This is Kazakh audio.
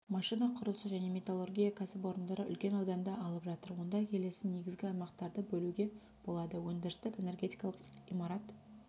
машина құрылысы және металлургия кәсіпорындары үлкен ауданды алып жатыр онда келесі негізгі аймақтарды бөлуге болады өндірістік энергетикалық имарат